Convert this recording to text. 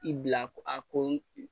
I bila a ko